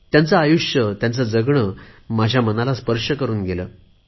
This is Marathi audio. त्यांचे आयुष्य माझ्या मनाला स्पर्श करुन गेले